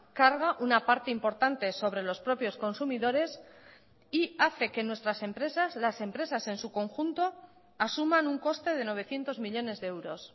carga una parte importante sobre los propios consumidores y hace que nuestras empresas las empresas en su conjunto asuman un coste de novecientos millónes de euros